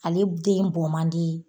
Ale den bon man di